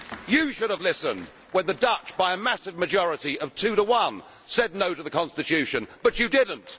You should have listened when the Dutch by a massive majority of two to one said No' to the constitution, but you did not.